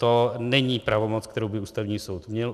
To není pravomoc, kterou by Ústavní soud měl.